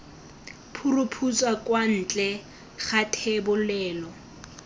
phuruphutsa kwa ntle ga thebolelo